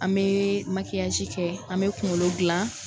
An mɛ kɛ an mɛ kungolo gilan.